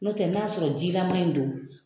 N'o tɛ n'a y'a sɔrɔ jilama in don.